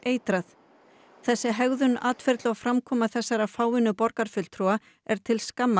þessi hegðun atferli og framkoma þessara fáeinu borgarfulltrúa er til skammar